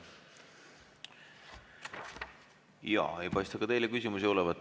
Jaa, ei paista ka teile küsimusi olevat.